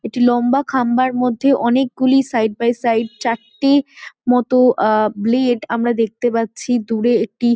একটি লম্বা খাম্বার মধ্যে অনেকগুলি সাইড বাই সাইড চারটির মতো আ ব্লেড আমরা দেখতে পাচ্ছি দূরে একটি--